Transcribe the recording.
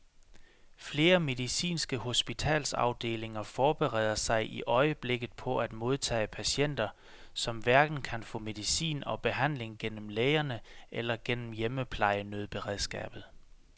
Flere medicinske hospitalsafdelinger forbereder sig i øjeblikket på at modtage patienter, som hverken kan få medicin og behandling gennem lægerne eller gennem hjemmeplejenødberedskabet.